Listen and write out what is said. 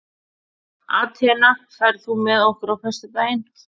Atena, ferð þú með okkur á föstudaginn?